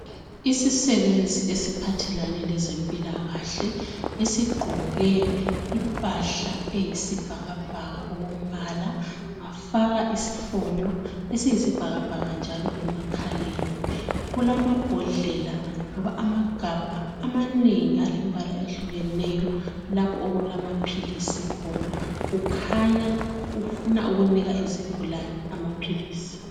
Isisebenzi esiphathelane lezempilakahle esigqoke impahla eyisibhakabhaka okombala wafaka isifonyo esiyibhakabhaka njalo emakhaleni kulamabhodlela loba amagabha amanengi alembala ehlukeneyo lapho okulamaphilisi khona kukhanya ufuna ukunika izigulane amaphilisi.